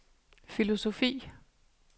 filosofi